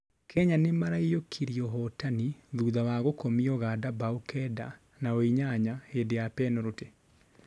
Kenya nĩmarainyũkirie ũhotani thutha wa gũkomia Uganda mbao Kenda nao inyanya hĩndĩ ya penũrũtĩ